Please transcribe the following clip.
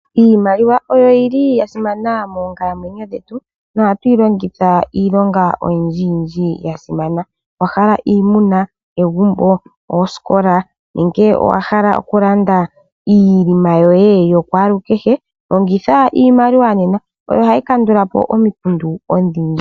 Iimaliwa oyo yi li ya simana moonkalamwenyo dhetu nohatu yi longitha iilonga oyindjiyindji ya simana .Owa hala iimuna, egumbo oosikola nenge owa hala okulanda iinima yoye yokwaalukehe longitha iimaliwa nena oyo hayi kandulapo omikundu odhindji.